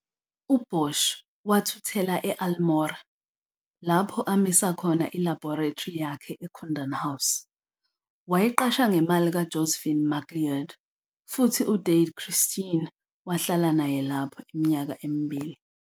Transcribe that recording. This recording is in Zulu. UBoshi wathuthela e-Almora lapho amisa khona ilabhorethri yakhe eKundan House, wayiqasha ngemali kaJosephine MacLeod, futhi uDade Christine wahlala naye lapho iminyaka emibili.